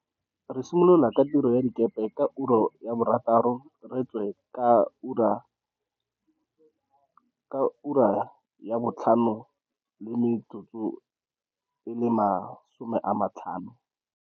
Re simolola ka tiro ya dikepe ka ura ya bothataro re e wetse ka ura ka ura ya bo 17h50.